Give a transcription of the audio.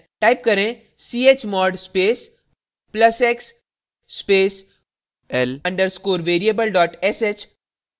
type करें chmod space plus x space l _ variable sh